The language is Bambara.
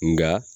Nka